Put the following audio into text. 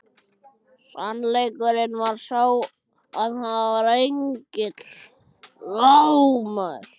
Sannleikurinn var sá að hann var enginn engill!